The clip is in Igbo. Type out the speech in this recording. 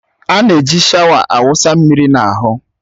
A na-eji shawa a wụsa mmiri n'ahụ.